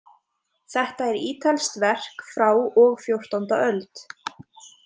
Þetta er ítalskt verk frá og fjórtánda öld.